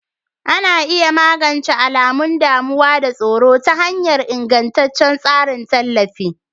Ana iya magance alamun damuwa da tsoro ta hanyar ingantaccen tsarin tallafi.